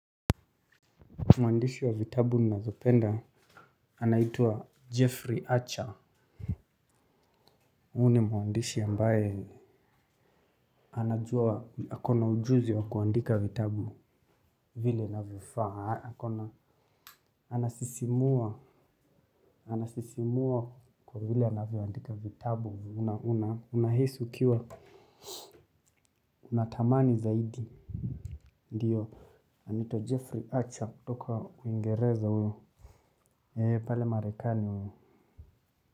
Mwandishi wa vitabu ninazopenda anaitwa Jeffrey Archer. Huyu ni mwandishi ambaye anajua ako na ujuzi wa kuandika vitabu. Vile inavyofaa ako na anasisimua anasisimua kwa vile anavyoandika vitabu unahisi ukiwa. Unatamani zaidi. Ndio anitwa Jeffrey Archer kutoka Uingereza huyo. Eee pale Marekani huyo.